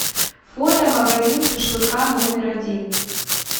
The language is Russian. фото магазин шашлыка номер один